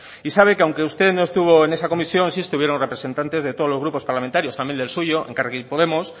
y sabe que aunque usted no estuvo en esa comisión sí estuvieron representantes de todos los grupos parlamentarios también del suyo elkarrekin podemos